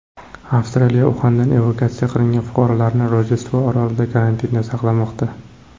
Avstraliya Uxandan evakuatsiya qilingan fuqarolarini Rojdestvo orolida karantinda saqlamoqda.